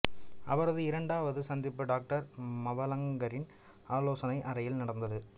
அவரது இரண்டாவது சந்திப்பு டாக்டர் மவலங்கரின் ஆலோசனை அறையில் நடந்தது